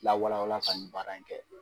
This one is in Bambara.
Lawala wala ka nin baara in kɛ.